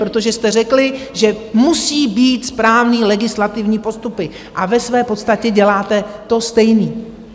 Protože jste řekli, že musí být správné legislativní postupy, a ve své podstatě děláte to stejné.